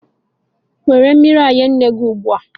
Were mmiri nye nne gị ugbu a.